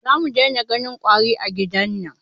Za mu dai na ganin ƙwari a gidan nan